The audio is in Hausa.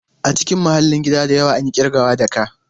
A cikin mahallin gida da yawa, an yi ƙirgawa da ka.